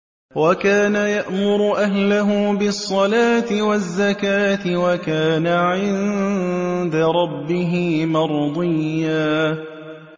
وَكَانَ يَأْمُرُ أَهْلَهُ بِالصَّلَاةِ وَالزَّكَاةِ وَكَانَ عِندَ رَبِّهِ مَرْضِيًّا